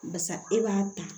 Barisa e b'a ta